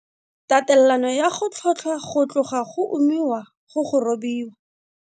Tatelano ya go tlhotlhwa go tloga go umiwa go go robiwa.